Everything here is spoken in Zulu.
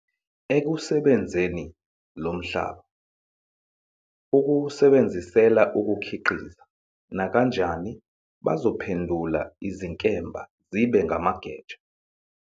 Ekusebenzeni lo mhlaba, ukuwusebenzisela ukukhiqiza, nakanjani bazophendula izinkemba zibe ngamageja.